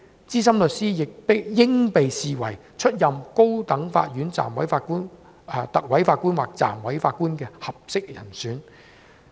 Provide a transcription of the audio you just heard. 資深律師應被視為出任高等法院特委法官或暫委法官的合適人選。